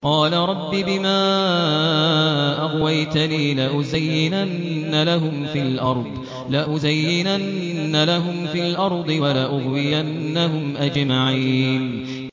قَالَ رَبِّ بِمَا أَغْوَيْتَنِي لَأُزَيِّنَنَّ لَهُمْ فِي الْأَرْضِ وَلَأُغْوِيَنَّهُمْ أَجْمَعِينَ